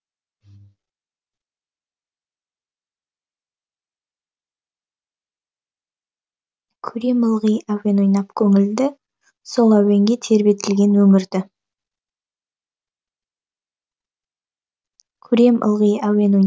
көрем ылғи әуен ойнап көңілді сол әуенге тербетілген өңірді